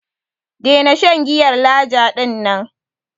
Daina shan giyar Laja din nan.